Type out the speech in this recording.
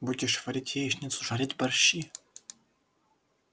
будешь варить яичницу жарить борщи